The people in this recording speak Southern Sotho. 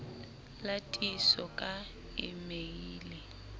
la tiiso ka e meile